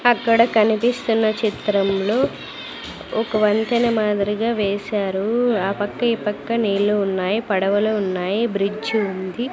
అక్కడ కనిపిస్తున్న చిత్రంలో ఒక వంతెన మాదిరిగా వేశారు ఆ పక్క ఈ పక్క నీళ్ళు ఉన్నాయి పడవలు ఉన్నాయి బ్రిడ్జు ఉంది.